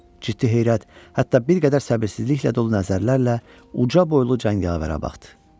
Ciddi heyrət, hətta bir qədər səbirsizliklə də o nəzərlərlə uca boylu cəngavərə baxdı.